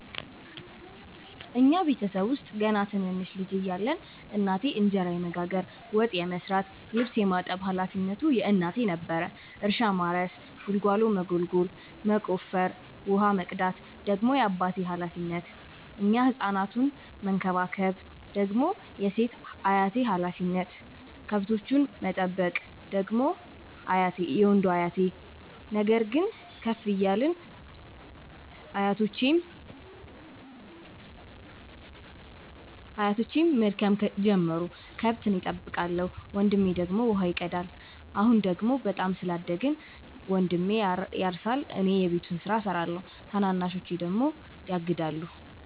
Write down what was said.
እኛ ቤተሰብ ውስጥ ገና ትንንሽ ልጅ እያለን እናቴ እንጀራ የመጋገር፤ ወጥ የመስራት ልብስ የማጠብ ሀላፊነቱ የእናቴ ነበረ። እርሻ ማረስ ጉልጎሎ መጎልጎል መቆፈር፣ ውሃ መቅዳት ደግሞ የአባቴ ሀላፊነት፤ እኛን ህፃናቱን መከባከብ ደግሞ የሴት አያቴ ሀላፊነት፣ ከብቶቹን መጠበቅ ደግሞ የወንዱ አያቴ። ነገር ግን ከፍ እያልን ስንመጣ አያቶቼም መድከም ጀመሩ ከብት እኔ ጠብቃለሁ። ወንድሜ ደግሞ ውሃ ይቀዳል። አሁን ደግሞ በጣም ስላደግን መንድሜ ያርሳ እኔ የቤቱን ስራ እሰራለሁ ታናናሾቼ ደግሞ ያግዳሉ።